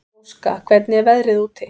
Róska, hvernig er veðrið úti?